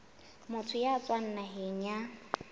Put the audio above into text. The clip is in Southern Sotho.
motho ya tswang naheng ya